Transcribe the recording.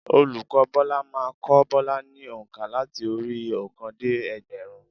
Olùkọ́ Bọ́lá má a n kó Bọ́lá ni ònkà láti orí i óòkan dé ẹgbẹ̀rún